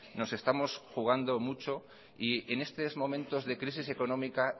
nos estamos jugando mucho y en estos momentos de crisis económica